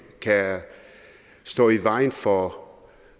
kan stå i vejen for